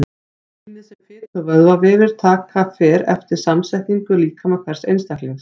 Rýmið sem fitu- og vöðvavefir taka fer eftir samsetningu líkama hvers einstaklings.